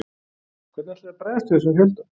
Hvernig ætlið þið að bregðast við þessum fjölda?